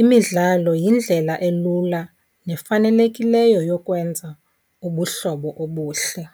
Imidlalo yindlela elula nefanelekileyo yokwenza ubuhlobo obuhle.